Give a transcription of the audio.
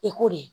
I ko de